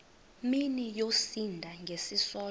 mini yosinda ngesisodwa